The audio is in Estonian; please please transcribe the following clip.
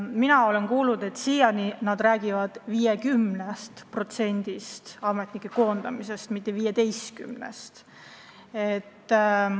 Mina olen kuulnud, et nad räägivad praegu 50% ametnike koondamisest, mitte 15%.